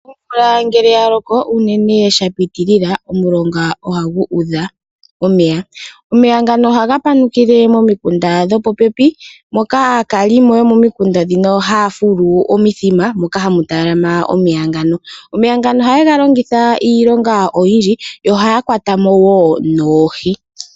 Omvula ngele ya loko, unene uuna sha pitilila, omulonga ohagu udha omeya. Omeya ngano ohaga panukile momikunda dhopopepi moka aakalimo yomomikunda ndhino haya fulu omithima moka hamu talama omeya ngano. Omeya ngano ohaye ga longitha iilonga oyindji, yo ohaya kwata mo wo noohi.